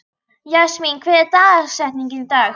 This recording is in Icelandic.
Jasmín, hver er dagsetningin í dag?